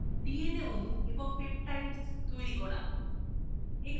dna অণু এবং peptides তৈরি করা